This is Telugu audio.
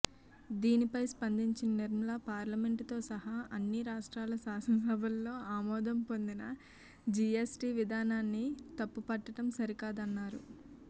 దీనిపై స్పందించిన నిర్మల పార్లమెంటుతో సహా అన్ని రాష్ట్రాల శాసన సభల్లో ఆమోదం పొందిన జీఎస్టీ విధానాన్ని తప్పుపట్టడం సరికాదన్నారు